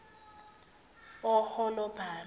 oholabhama